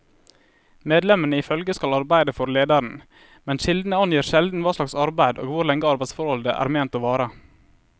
Medlemmene i følget skal arbeide for lederen, men kildene angir sjelden hva slags arbeid og hvor lenge arbeidsforholdet er ment å vare.